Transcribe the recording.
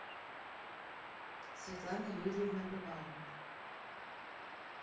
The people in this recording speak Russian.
светлана юрьевна бывалова